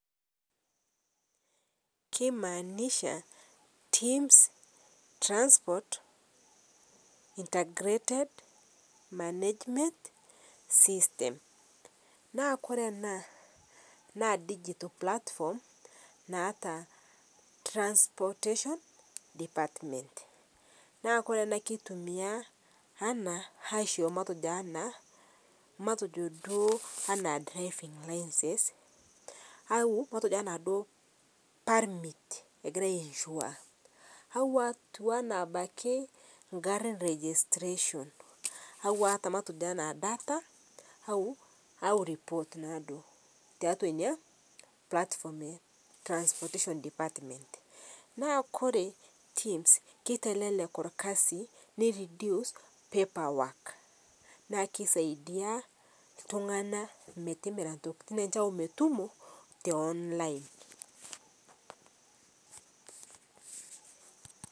Keimanisha TIMS Transport integrated management Systems, naa kore ana naa digital platform naata transportation department naa kore ana keitumia anaa aisho matojo anaa matejo duo ana driving licence au matejo duo ana permit egirai ai insure au atuwana abakii ng'ata e registration au atuwana taata matejo data au report naaduo taatua inia platform ee transportation department naa kore TIMS keitelelek olkazi nei reduce paperwok naa keisaidia ltung'ana metimiraa ntokitin enshe au metumo te online.